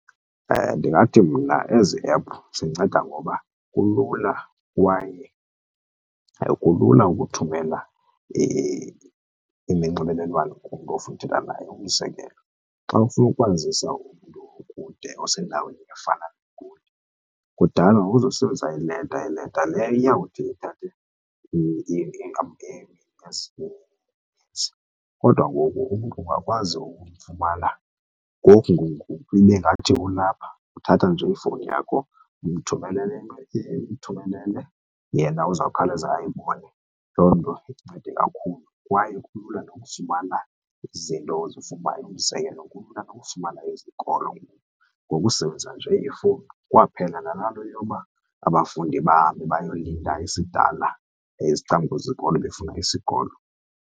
Ndingathi mna ezi ephu zinceda ngoba kulula kwaye kulula ukuthumela iminxibelelwano kumntu ofuna uthetha naye. Umzekelo xa ufuna ukwazisa umntu okude osendaweni efana neGoli, kudala wawuzosebenzisa ileta, leta leyo iyawuthi ithathe . Kodwa ngoku umntu uyakwazi ukumfumana ngoku ngoku ngoku ibe ngathi ulapha. Uthatha nje ifowuni yakho umthumelele umthumelele, yena uzawukhawuleza ayibone, loo nto incede kakhulu. Kwaye kulula nokufumana izinto ozifunayo, umzekelo kulula nokufumana izikolo ngoku ngokusebenzisa nje ifowuni. Kwaphela nalaa nto yoba abafundi bahambe bayolinda isidala ecamkwezikolo befuna isikolo.